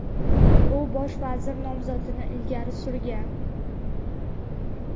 u bosh vazir nomzodini ilgari surgan.